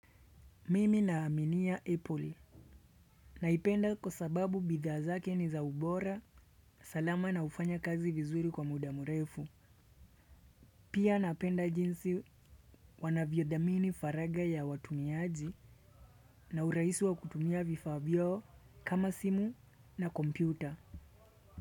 Mimi na aminia epoli. Naipenda kwa sababu bidha zake niza ubora, salama na hufanya kazi vizuri kwa muda mrefu. Pia napenda jinsi wanaviodhamini faraga ya watumiaji na urahisu wa kutumia vifa vyao kama simu na kompyuta.